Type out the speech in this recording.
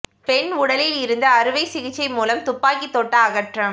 பெண் உடலில் இருந்து அறுவை சிகிச்சை மூலம் துப்பாக்கி தோட்டா அகற்றம்